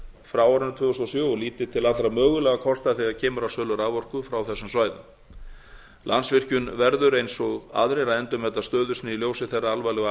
frá árinu tvö þúsund og sjö og líti til allra mögulegra kosta þegar kemur að sölu raforku frá þessum svæðum landsvirkjun verður eins og aðrir að endurmeta stöðu sína í ljósi þeirra alvarlegu